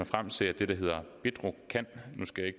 frem til at det der hedder bedrocan nu skal jeg